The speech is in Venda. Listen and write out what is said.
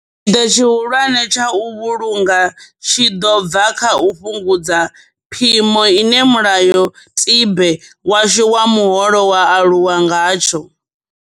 Tshipiḓa tshihulwane tsha u vhulunga tshi ḓo bva kha u fhungudza phimo ine mulayo tibe washu wa muholo wa alu wa ngatsho.